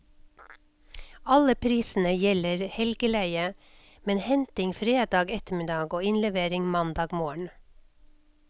Alle prisene gjelder helgeleie, med henting fredag ettermiddag og innlevering mandag morgen.